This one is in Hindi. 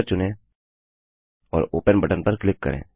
पिक्चर चुनें और ओपन बटन पर क्लिक करें